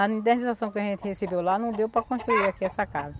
A indernização que a gente recebeu lá não deu para construir aqui essa casa.